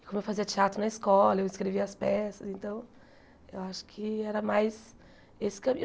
E, como eu fazia teatro na escola, eu escrevia as peças, então eu acho que era mais esse caminho.